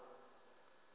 ha muholo we a u